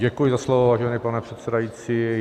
Děkuji za slovo, vážený pane předsedající.